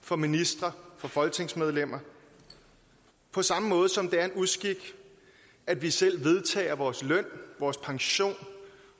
for ministre og for folketingsmedlemmer på samme måde som det er en uskik at vi selv vedtager vores løn vores pension